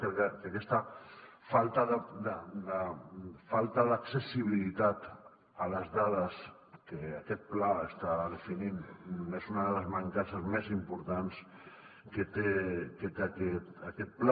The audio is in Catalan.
crec que aquesta falta d’accessibilitat a les dades que aquest pla està definint és una de les mancances més importants que té aquest pla